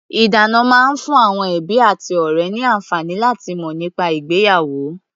Ìdána máa ń fún àwọn ẹbí àti ọ̀rẹ́ ní àǹfààní láti mọ̀ nípa ìgbéyàwó.